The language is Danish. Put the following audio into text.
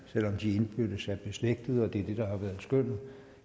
selv om de indbyrdes er beslægtede og det er det der har været skønnet